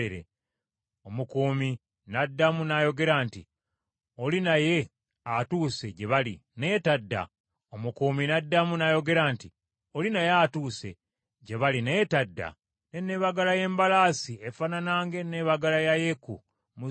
Omukuumi n’addamu n’ayogera nti, “Oli naye atuuse, gye bali, naye tadda. N’enneebagala y’embalaasi efaanana ng’enneebala ya Yeeku muzzukulu wa Nimusi, kubanga enneebagala ye yakiralu.”